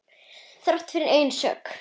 Þrátt fyrir eigin sök.